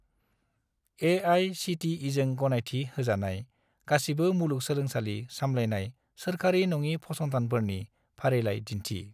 ए.आइ.सि.टि.इ.जों गनायथि होजानाय गासिबो मुलुगसोलोंसालि सामलायनाय-सोरखारि नङि फसंथानफोरनि फारिलाइ दिन्थि।